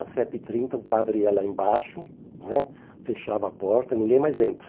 Às sete e trinta o padre ia lá embaixo né, fechava a porta e ninguém mais entra.